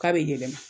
K'a bɛ yɛlɛma